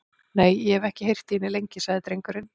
Nei, og ég hef ekki heyrt í henni lengi, sagði drengurinn.